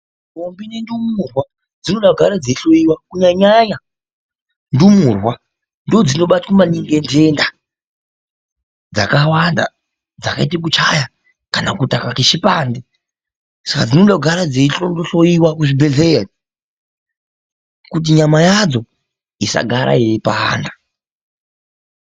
Ndombi nendumurwa dzinoda kugara dzeihloiwa. Kunyanya nyanya ndumurwa ndoodzinobatwa maningi ngenhenda dzakawanda dzakaita kuchaya kana kutakwa ngechipande. Saka dzinoda kugara dzeihloiwa kuchibhedhleya iyo kuti nyama yadzo isagara yeipanda.